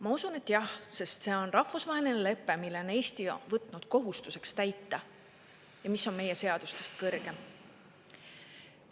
Ma usun, et jah, sest see on rahvusvaheline lepe, mille täitmise on Eesti võtnud kohustuseks ja mis on meie seadustest kõrgem.